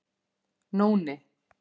Nóni